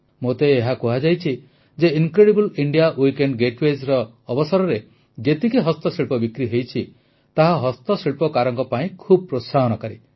ମୋତେ ଏହା କୁହାଯାଇଛି ଯେ ଇନକ୍ରେଡିବଲ୍ ଇଣ୍ଡିଆ ୱୀକେଣ୍ଡ୍ ଗେଟାୱେଜ୍ ଅବସରରେ ଯେତିକି ହସ୍ତଶିଳ୍ପ ବିକ୍ରି ହୋଇଛି ତାହା ହସ୍ତଶିଳ୍ପକାରଙ୍କ ପାଇଁ ଖୁବ୍ ପ୍ରୋତ୍ସାହନକାରୀ